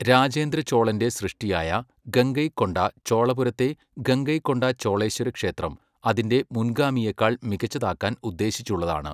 രാജേന്ദ്ര ചോളന്റെ സൃഷ്ടിയായ ഗംഗൈകൊണ്ട ചോളപുരത്തെ ഗംഗൈകൊണ്ട ചോളേശ്വരക്ഷേത്രം അതിന്റെ മുൻഗാമിയെക്കാൾ മികച്ചതാക്കാൻ ഉദ്ദേശിച്ചുള്ളതാണ്.